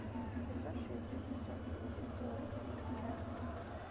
пятьсот шесть восемьсот десять сорок три пятнадцать